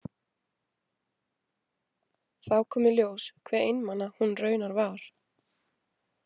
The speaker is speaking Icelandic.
Þá kom í ljós hve einmana hún raunar var.